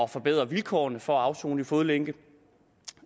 forbedre vilkårene for at afsone i fodlænke